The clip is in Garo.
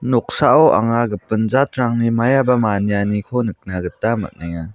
noksao anga gipin jatrangni maiaba manianiko nikna gita man·enga.